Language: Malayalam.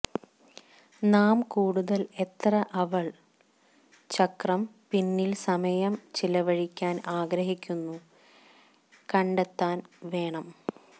നാം കൂടുതൽ എത്ര അവൾ ചക്രം പിന്നിൽ സമയം ചെലവഴിക്കാൻ ആഗ്രഹിക്കുന്നു കണ്ടെത്താൻ വേണം